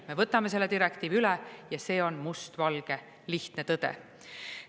Me võtame selle direktiivi üle ja see on mustvalge, lihtne tõde.